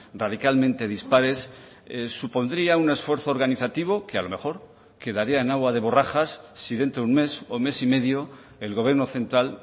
radicalmente dispares supondría un esfuerzo organizativo que a lo mejor quedaría en agua de borrajas si dentro de un mes o mes y medio el gobierno central